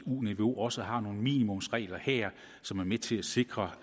eu niveau også har nogle minimumsregler her som er med til at sikre